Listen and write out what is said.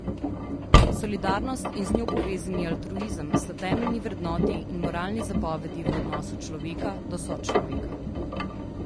Solidarnost in z njo povezani altruizem sta temeljni vrednoti in moralni zapovedi v odnosu človeka do sočloveka.